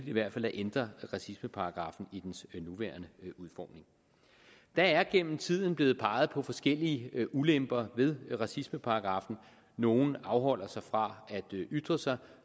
i hvert fald at ændre racismeparagraffen i dens nuværende udformning der er gennem tiden blevet peget på forskellige ulemper ved racismeparagraffen nogle afholder sig fra at ytre sig